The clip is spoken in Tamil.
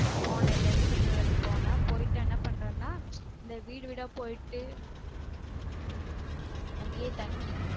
போன இங்க இருந்து திருநெல்வேலிக்கு போனன் போய்டு என்ன பண்றனான் அந்த வீடு வீடா போய்டு அங்கயே தங்கி